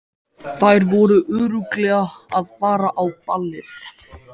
Þær voru örugglega að fara á ballið.